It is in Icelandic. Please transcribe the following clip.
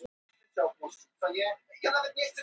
Allt á hvolfi á skrifstofunni?